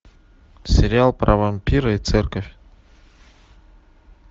сериал про вампира и церковь